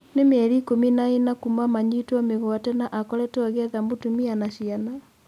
Nĩ-mĩeri ikũmi na-ĩna kuuma manyitwo mĩguate na akoretwo agĩetha mũtumia na ciana.